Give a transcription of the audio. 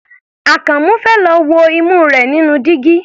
Àkànmú fẹ́ lọ wo imú rẹ̀ nínú dígí.